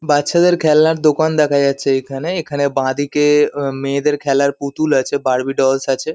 বাচ্চাদের খেলনার দোকান দেখা যাচ্ছে এখানে। এখানে বাঁদিকে আ মেয়েদের খেলার পুতুল আছে বার্বি ডলস আছে।